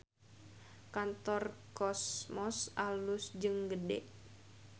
Kantor Cosmos alus jeung gede